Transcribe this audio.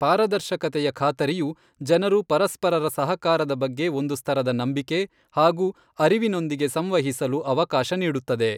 ಪಾರದರ್ಶಕತೆಯ ಖಾತರಿಯು ಜನರು ಪರಸ್ಪರರ ಸಹಕಾರದ ಬಗ್ಗೆ ಒಂದು ಸ್ತರದ ನಂಬಿಕೆ ಹಾಗೂ ಅರಿವಿನೊಂದಿಗೆ ಸಂವಹಿಸಲು ಅವಕಾಶ ನೀಡುತ್ತದೆ.